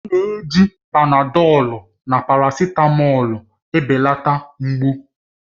A na-ejikarị Panadọlu na parasitamọlu ebelata mgbu